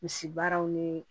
Misi baaraw ni